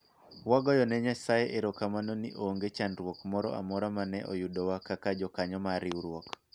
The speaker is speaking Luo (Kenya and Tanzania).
wagoyo ne nyasaye eromamano ni onge chandruok moro amora mane oyudowa kaka jokanyo mar riwruok